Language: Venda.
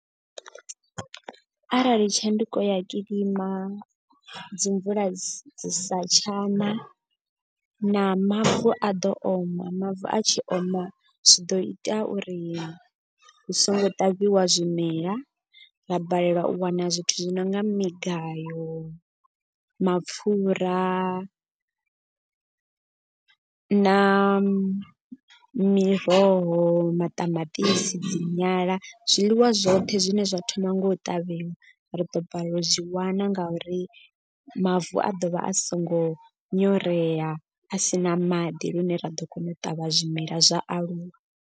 Arali tshanduko ya kilima dzi mvula dzi sa tshana na mavu a ḓo oma. Mavu a tshi oma zwi ḓo ita uri hu songo ṱavhiwa zwimela. Ra balelwa u wana zwithu zwi nonga migayo, mapfura, na miroho, maṱamaṱisi, dzi nyala zwiḽiwa zwoṱhe zwine zwa thoma nga u ṱavhiwa. Ri ḓo balelwa u zwi wana nga uri mavu a ḓovha a so ngo nyorea a si na maḓi. Lune ra ḓo kona u ṱavha zwimela zwa aluwa.